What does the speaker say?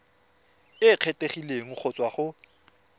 e kgethegileng go tswa go